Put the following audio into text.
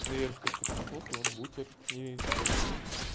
но я же только проснулся вот бутер и кофе пью